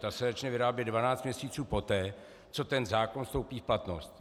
Ta se začne vyrábět 12 měsíců poté, co ten zákon vstoupí v platnost.